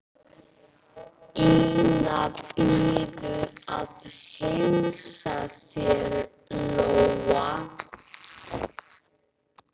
Ína biður að heilsa þér, sagði Lóa.